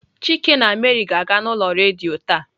Chike na Mary ga-aga n'ulo redio ta.